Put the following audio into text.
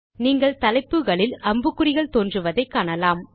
நீங்கள் தலைப்புகளில் அம்புக்குறிகள் தோன்றுவதை காணலாம்